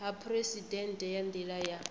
ha phuresidennde nga nila ya